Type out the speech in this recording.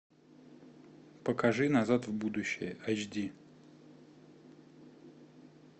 покажи назад в будущее айч ди